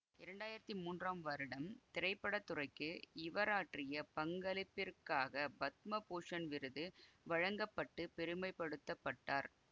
இரண்டாயிரத்தி மூன்றாம் வருடம் திரைப்பட துறைக்கு இவராற்றிய பங்களிப்பிற்காக பத்ம பூசண் விருது வழங்க பட்டு பெருமைபடுத்தப்பட்டார்